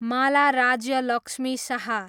Mala Rajya Lakshmi Shah